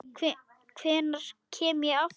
Hvenær kem ég aftur?